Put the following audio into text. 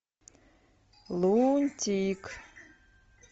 лунтик